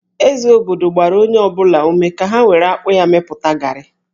Eze obodo gbara onye ọ bụla ume ka ha were akpụ ya mepụta gari